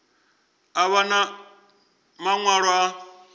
a vha na maṅwalo a